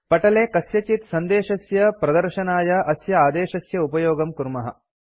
पटले कस्यचित् सन्देशस्य प्रदर्शनाय अस्य आदेशस्य उपयोगं कुर्मः